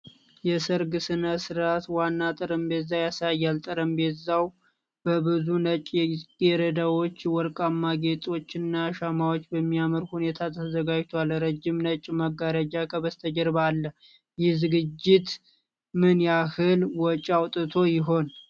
የሠርግ ሥነ ሥርዓት ዋና ጠረጴዛን ያሳያል። ጠረጴዛው በብዙ ነጭ ጽጌረዳዎች፣ ወርቃማ ጌጦችና ሻማዎች በሚያምር ሁኔታ ተዘጋጅቷል። ረጅም ነጭ መጋረጃ ከበስተጀርባ አለ። ይህ ዝግጅት ምን ያህል ወጪ አውጥቶ ይሆን?